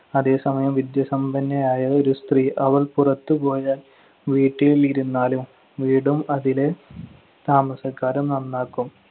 അതേസമയം വിദ്യാസമ്പന്നയായ ഒരു സ്ത്രീ, അവൾ പുറത്തു പോയാല്‍ വീട്ടിലിരുന്നാലും വീടും അതിലെ താമസക്കാരും നന്നാക്കും.